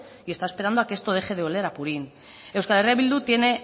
y está esperando que esto deje de oler a purín euskal herria bildu tiene